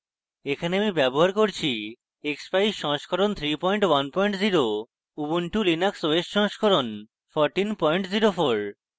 এখানে আমি ব্যবহার করছি